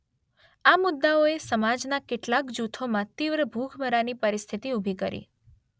આ મુદ્દાઓ એ સમાજના કેટલાક જૂથોમાં તીવ્ર ભૂખમરાની પરિસ્થિતિ ઊભી કરી